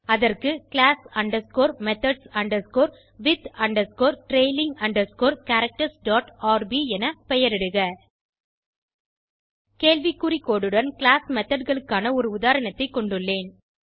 அதற்கு class underscore methods underscore with underscore trailing underscore characters dot R B என பெயரிடுக கேள்வி குறி கோடு உடன் கிளாஸ் மெத்தோட் களுக்கான ஒரு உதாரணத்தை கொண்டுள்ளேன்